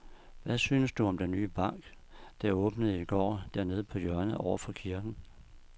Hvad synes du om den nye bank, der åbnede i går dernede på hjørnet over for kirken?